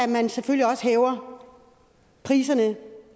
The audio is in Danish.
man selvfølgelig også hæver priserne